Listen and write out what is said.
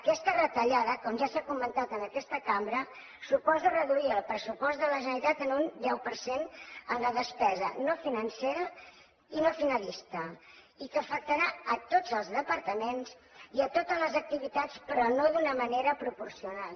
aquesta retallada com ja s’ha comentat en aquesta cambra suposa reduir el pressupost de la generalitat en un deu per cent en la despesa no financera i no finalista i que afectarà a tots els departaments i a totes les activitats però no d’una manera proporcional